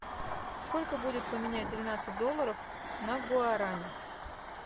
сколько будет поменять двенадцать долларов на гуарани